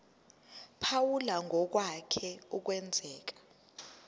phawula ngokwake kwenzeka